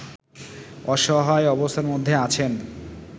অসহায় অবস্থার মধ্যে আছেন